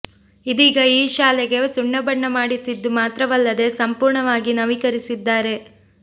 ಇದೀಗ ಈ ಶಾಲೆಗೆ ಸುಣ್ಣ ಬಣ್ಣ ಮಾಡಿಸಿದ್ದು ಮಾತ್ರವಲ್ಲದೇ ಸಂಪೂರ್ಣವಾಗಿ ನವೀಕರಿಸಿದ್ದಾರೆ